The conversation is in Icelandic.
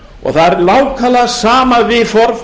það er nákvæmlega sama viðhorf